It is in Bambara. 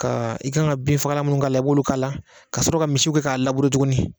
Ka i kan ka bin fagala minnu k'a la i b'olu k'a la ka sɔrɔ ka misiw kɛ k'a tugun.